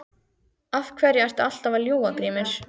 Af hverju ertu alltaf að ljúga Grímur?